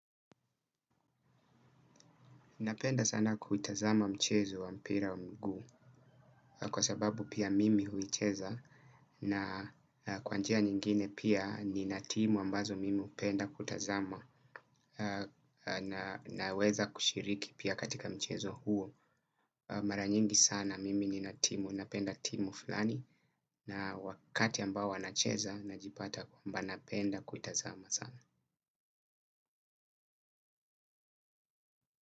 Napenda sana kuitazama michezo wa mpira wa mguu kwa sababu pia mimi huicheza na kwa njia nyingine pia nina timu ambazo mimi hupenda kutazama naweza kushiriki pia katika mchezo huo mara nyingi sana mimi nina timu napenda timu fulani na wakati ambao wanacheza najipata kwamba napenda kuitazama sana.